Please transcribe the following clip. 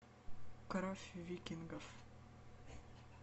кровь викингов